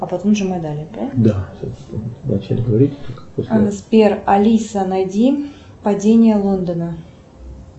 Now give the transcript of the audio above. сбер алиса найди падение лондона